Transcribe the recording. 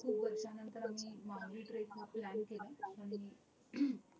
खूप वर्षानंतर आम्ही माहुली trek plan केला